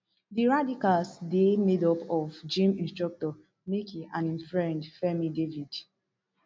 di radicals dey made up of gym instructor michky and im friend fairme david